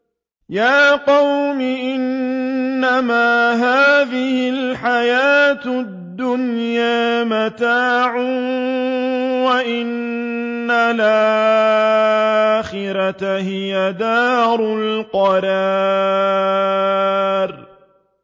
يَا قَوْمِ إِنَّمَا هَٰذِهِ الْحَيَاةُ الدُّنْيَا مَتَاعٌ وَإِنَّ الْآخِرَةَ هِيَ دَارُ الْقَرَارِ